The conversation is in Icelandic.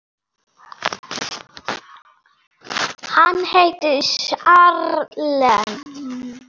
Hann heitir Charles